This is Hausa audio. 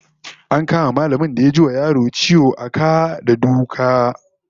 An kama mallamin da ya ji wa yaron ciwo a ka da duka